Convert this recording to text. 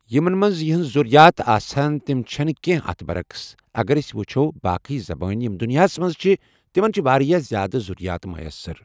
یِمَن منٛز یِہنز ذرییات آسہِ ہِن تم چھنہٕ کیٚنٛہہ اتھ برعکس اگر اسۍ وٕچھو باقی زبان یم دُنیاہَس منٛز چھ تِمن چھ واریاہ زیادٕ ذرییات میسَر